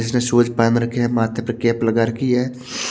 इसने शूज़ पेहन रखे हैं माथे पर कैप लगा रखी है।